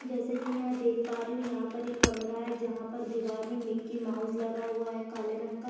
जैसे की मैं देख पा रही हु यहाँ पर एक कमरा है जहाँ पर दिवार में मिक्कीमाउस लगा हुआ है काले रंग का --